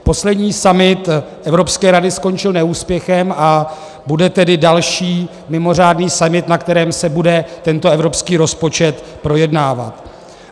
Poslední summit Evropské rady skončil neúspěchem, a bude tedy další mimořádný summit, na kterém se bude tento evropský rozpočet projednávat.